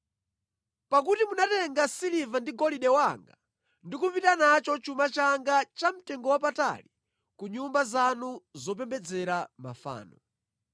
Pakuti munatenga siliva ndi golide wanga ndi kupita nacho chuma changa chamtengowapatali ku nyumba zanu zopembedzera mafano.